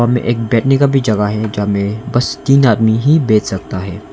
में एक बैठने का भी जगह है जहां में बस तीन आदमी ही बैठ सकता है।